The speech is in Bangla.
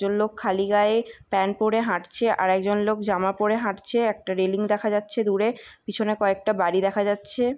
একজন লোক খালি গায়ে প্যান্ট পড়ে হাঁটছে আর আর একজন লোক জামা পড়ে হাঁটছে একটা রেলিং দেখা যাচ্ছে দূরে পেছনে কয়েকটা বাড়ি দেখা যাচ্ছে ।